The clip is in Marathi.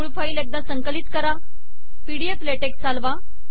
मूळ फाईल एकदा संकलित करा पीडीएफ लॅटेक्स चालवा